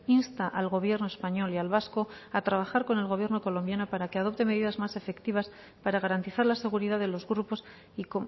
insta al gobierno español y al vasco a trabajar con el gobierno colombiano para que adopte medidas más efectivas para garantizar la seguridad de los grupos y